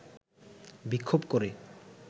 বিক্ষোভ করে